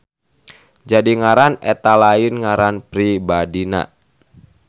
Jadi ngaran eta lain ngaran pribadina.